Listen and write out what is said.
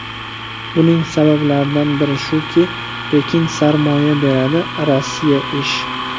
Buning sabablaridan biri shuki, Pekin sarmoya beradi, Rossiya ish.